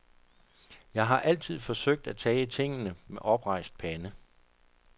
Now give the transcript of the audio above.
Jeg har altid forsøgt at tage tingene med oprejst pande.